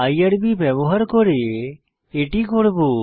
IRB ব্যবহার করে এটি করব